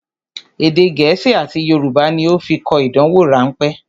Èdè gẹ̀ẹ́sì àti Yorùbá ní ó fi kọ ìdánwò rán pẹ́